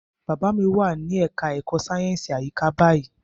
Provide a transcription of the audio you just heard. Bàbá mi wà ní ẹka ẹ̀kọ́ sáyẹnsì àyíká báyìí.